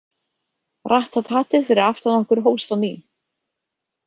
Ratt- tat- tatið fyrir aftan okkur hófst á ný.